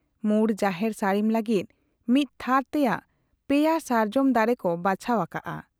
ᱢᱩᱬ ᱡᱟᱦᱮᱨ ᱥᱟᱹᱲᱤᱢ ᱞᱟᱹᱜᱤᱫ ᱢᱤᱫ ᱛᱷᱟᱨ ᱛᱮᱭᱟᱜ ᱯᱮᱭᱟ ᱥᱟᱨᱡᱚᱢ ᱫᱟᱨᱮ ᱠᱚ ᱵᱟᱪᱷᱟᱣ ᱟᱠᱟᱜ ᱟ ᱾